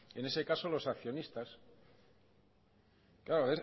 en ese caso los accionistas claro